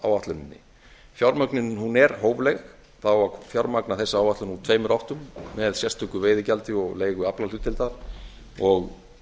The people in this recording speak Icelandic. ríkisfjármálaáætluninni fjármögnunin er hófleg það á að fjármagna þessa áætlun úr tveimur áttum með sérstöku veiðigjaldi og leigu aflahlutdeilda og